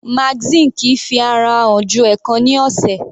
Magazine kìí fi ara hàn ju ẹ̀ẹ̀kan ní ọ̀sẹ̀.